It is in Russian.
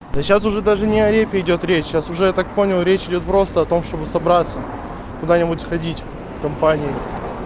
да сейчас уже даже не репе идёт речь сейчас уже я так понял речь идёт просто о том чтобы собраться куда-нибудь сходить компанией